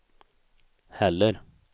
heller